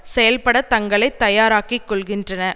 செயல்பட தங்களை தயாராக்கிக் கொள்கின்றனர்